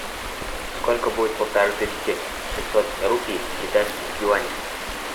сколько будет полторы тысячи шестьсот рупий в китайских юанях